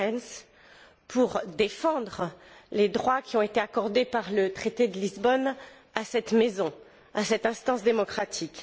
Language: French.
Goerens pour défendre les droits qui ont été accordés par le traité de Lisbonne à cette maison, à cette instance démocratique.